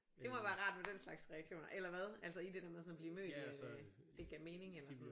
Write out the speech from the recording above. Det må være rart med den slags reaktioner eller hvad? Altså i det der med sådan at blive mødt i øh det gav mening eller sådan